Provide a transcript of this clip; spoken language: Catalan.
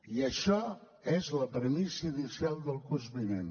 i això és la premissa inicial del curs vinent